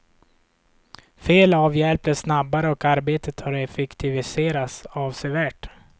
Fel avhjälps snabbare och arbetet har effektiviserats avsevärt.